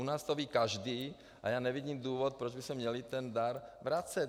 U nás to ví každý a já nevidím důvod, proč bychom měli ten dar vracet!